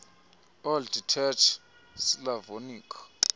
old church slavonic